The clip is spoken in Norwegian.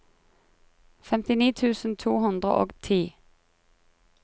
femtini tusen to hundre og ti